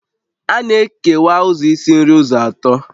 A na-ekewa ụzọ isi nri ụzọ atọ